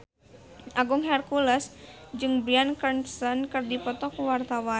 Agung Hercules jeung Bryan Cranston keur dipoto ku wartawan